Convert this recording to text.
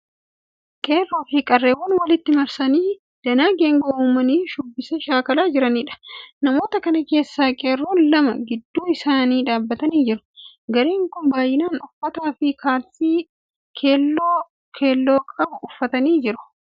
Qeerroo fi qarreewwan walitti marsanii danaa geengoo uumanii shubbisa shaakalaa jiraniidha. Namoota kana keessaa qeerroon lama gidduu isaanii dhaabbatanii jiru. Gareen kun baayinaan uffata fi kaalsii halluu keelloo qabu uffachaa jiru.